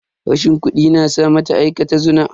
Rashin kudi na sa mata aikata zina.